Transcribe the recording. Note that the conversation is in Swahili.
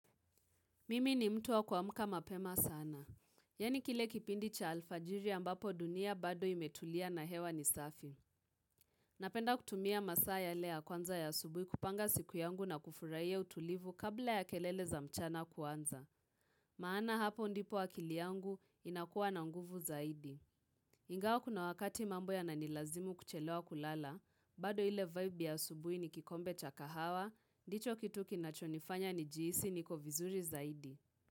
Mimi ni mtu wa kuamka mapema sana. Yani kile kipindi cha alfajiri ambapo dunia bado imetulia na hewa ni safi. Napenda kutumia masaa yale ya kwanza ya subuhi kupanga siku yangu na kufurahia utulivu kabla ya kelele za mchana kuanza Maana hapo ndipo akili yangu inakuwa na nguvu zaidi. Ingawa kuna wakati mambo yana nilazimu kuchelewa kulala, bado ile vibe ya subuhi ni kikombe cha kahawa, ndicho kitu kinachonifanya ni jihisi niko vizuri zaidi.